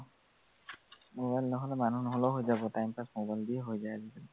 mobile নহলে, মানুহ নহলেও হৈ যাব time pass mobile দিয়ে হৈ যায় আজিকালি।